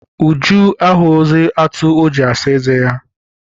Uju ahụghịzi atụ o ji asa eze ya.